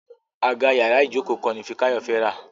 Àga yàrá Ijoko kan ní Fikayo fè rá.: